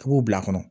I b'o bila a kɔnɔ